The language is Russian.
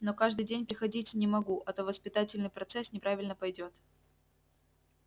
но каждый день приходить не могу а то воспитательный процесс неправильно пойдёт